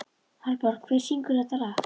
Hallborg, hver syngur þetta lag?